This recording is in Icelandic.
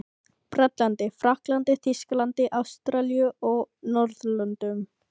Bretlandi, Frakklandi, Þýskalandi, Ástralíu og á Norðurlöndum.